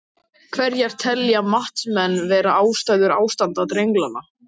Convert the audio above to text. Hverjar telja matsmenn vera ástæður ástands drenlagnanna?